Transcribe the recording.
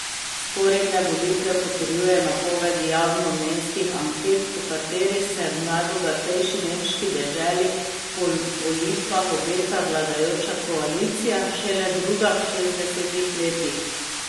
Vzporedne volitve potrjujejo napovedi javnomnenjskih anket, po katerih se v najbogatejši nemški deželi po volitvah obeta vladajoča koalicija, šele druga v šestdesetih letih.